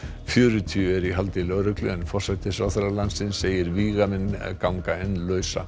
fjörutíu eru í haldi lögreglu en forsætisráðherra landsins segir að vígamenn gangi enn lausir